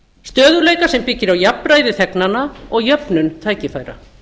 stöðugleika sem byggir á jafnræði þegnanna og jöfnun tækifæra